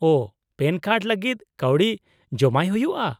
-ᱳ , PAN card ᱞᱟᱹᱜᱤᱫ ᱠᱟᱹᱣᱰᱤ ᱡᱚᱢᱟᱭ ᱦᱩᱭᱩᱜᱼᱟ ?